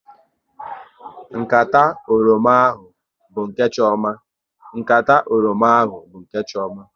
Nkata oroma ahụ bụ nke Chioma